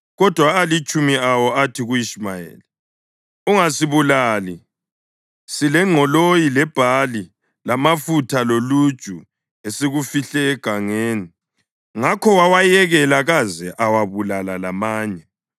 Kodwa alitshumi awo athi ku-Ishumayeli, “Ungasibulali! Silengqoloyi lebhali, lamafutha loluju, esikufihle egangeni.” Ngakho wawayekela kaze awabulala lamanye.